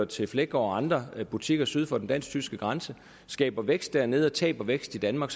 til fleggaard og andre butikker syd for den dansk tyske grænse skaber vækst dernede og taber vækst i danmark